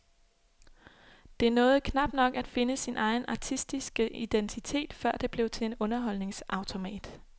Det nåede knap nok at finde sin egen artistiske identitet, før det blev til en underholdningsautomat.